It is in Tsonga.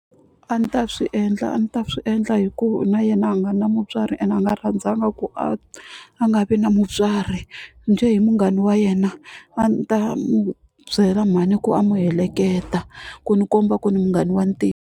A ni ta swi endla a ni ta swi endla hi ku na yena a nga na mutswari ene a nga rhandzaka ku a a nga vi na mutswari njhe hi munghana wa yena a ni ta n'wu byela mhani ku a n'wi heleketa ku ni komba ku ni munghana wa .